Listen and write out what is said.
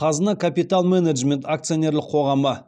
қазына капитал менеджмент акционерлік қоғамы